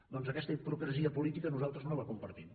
doncs aquesta hipocresia política nosaltres no la compartim